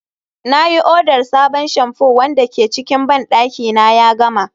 na yi odar sabon shamfu wanda ke cikin bandaki na ya gama